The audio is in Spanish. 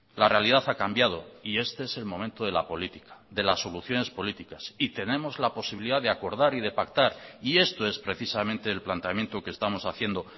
la realidad ha cambiado y este es el momento de la política de las soluciones políticas y tenemos la posibilidad de acordar y de pactar y esto es precisamente el planteamiento que estamos haciendo